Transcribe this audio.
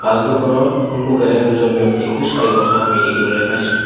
দুখনৰ সন্মুখেৰে দুজন ব্যক্তি খোজকাঢ়ি থকা আমি দেখিবলৈ পাইছোঁ।